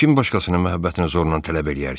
Kim başqasının məhəbbətini zorla tələb eləyər ki?